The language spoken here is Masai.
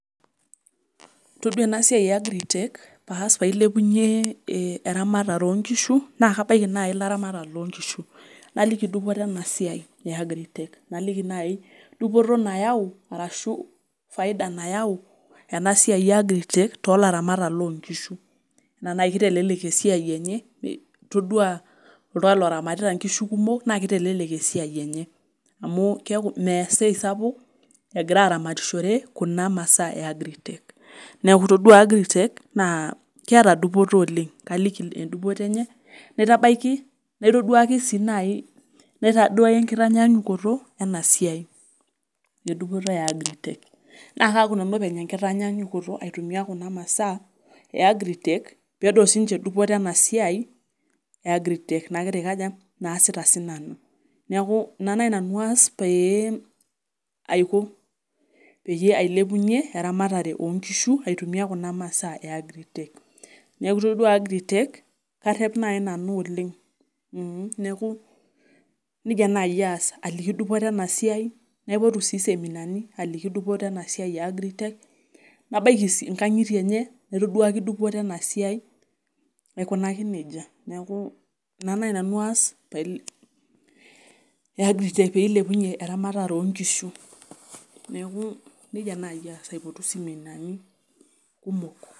Todua ena siai e agritech paas pailepunyie eh eramatare onkishu naa kabaiki naai ilaramatak lonkishu naliki dupoto ena siai e agritech naliki naai dupoto nayau arashu faida nayau ena siai e agritech tolaramatak lonkishu enaa naai kitelelek esiai enye todua oltung'ani loramatita inkishu kumok naa kitelelek esiai enye amu keeku mees esisi sapuk egira aramatishore kuna masaa e agritech neku todua agritech naa keeta dupoto oleng kaaliki dupoto enye naitabaiki naitoduaki sii naai naitaduaya enkitanyanyukoto ena siai edupoto e agritech naa kaaku nanu openy enkitanyaanyukoto aitumia kuna masaa e agritech peedol sininche dupoto ena siai e agritech nagira aikaja naasita sinanu niaku ina naai nanu aas pee aiko peyie ailepunyie eramatare onkishu aitumia kuna masaa e agritech neeku itodua agritech karrep naai nanu oleng mh neeku nejia naai aas aliki dupoto ena siai naipotu sii iseminani aliki dupoto ena siai e agritech nabaiki sii inkang'itie enye naitoduaki dupoto ena siai aikunaki nejia neeku ina naai nanu aas pail e agritech peilepunyie eramatare onkishu neeku nejia naaji aas aipotu iseminani kumok.